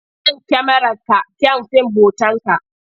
Kyan kyamararka kyan fim hotonka.